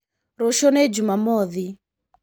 Rũcio nĩjumamothi.